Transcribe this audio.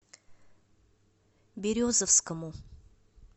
березовскому